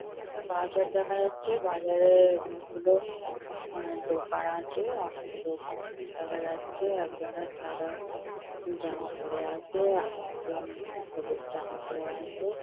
দূরে একটা বাজার দেখা যাচ্ছে। বাজারে-এ অনেকগুলো আ দোকান আছে। অনেক লোকজন দেখা যাচ্ছে। একজনের সাদা জামা পরে আছে আর একজন আ হলুদ জামা পরে আছে।